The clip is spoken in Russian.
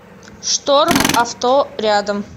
шторм авто рядом